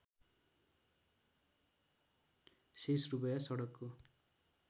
शेष रूपैयाँ सडकको